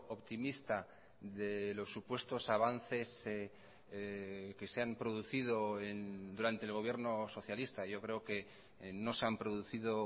optimista de los supuestos avances que se han producido durante el gobierno socialista yo creo que no se han producido